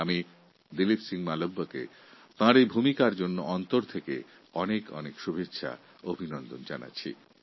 আমি দিলীপ সিং মালভিয়াকে আন্তরিকভাবে অভিনন্দন ও শুভেচ্ছা জানাচ্ছি